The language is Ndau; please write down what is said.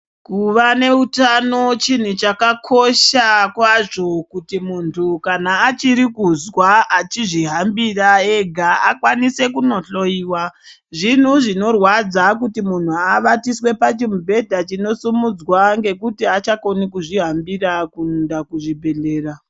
Kuva neutano chinhu chakakosha kwazvo kuti muntu kana achirikuzwa achizvihambira ega akwanise kunohloyiwa. Zvinhu zvinorwadza kuti munhu avatiswe pachimubhedha chinosumudzwa ngekuti haachakoni kuzvihambira kuenda kuzvibhedhlera.